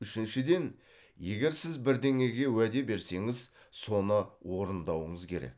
үшіншіден егер сіз бірдеңеге уәде берсеңіз соны орындауыңыз керек